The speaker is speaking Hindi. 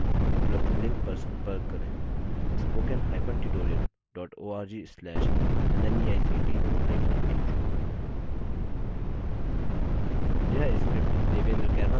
इस mission पर अधिक जानकारी के लिए उपलब्ध लिंक पर संपर्क करेंspoken hyphen tutorial dot org slash nmeict hyphen intro